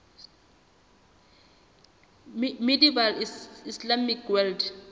medieval islamic world